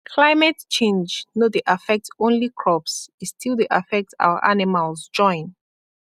climate change no dey affect only crops e still dey affect our animals join